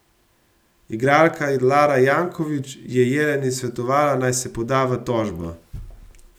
Igralka Lara Janković je Jeleni svetovala, naj se poda v tožbo.